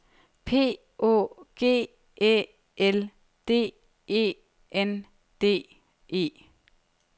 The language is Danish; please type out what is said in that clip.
P Å G Æ L D E N D E